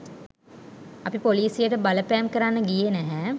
අපි පොලිසියට බලපෑම් කරන්න ගියේ නැහැ